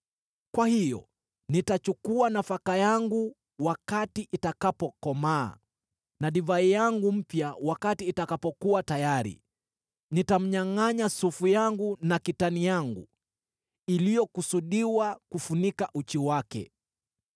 “Kwa hiyo nitachukua nafaka yangu wakati itakapokomaa na divai yangu mpya wakati itakapokuwa tayari. Nitamnyangʼanya sufu yangu na kitani yangu iliyokusudiwa kufunika uchi wake.